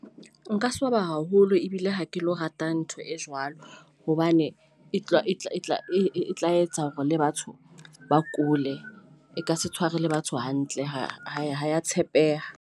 Nka swaba haholo ebile ha ke lo rata ntho e jwalo hobane e tla e tla e tla e tla etsa hore le batho ba kule e ka se tshware le batho hantle ha hae. Ho tshepeha.